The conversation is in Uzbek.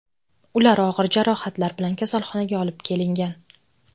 Ular og‘ir jarohatlar bilan kasalxonaga olib kelingan.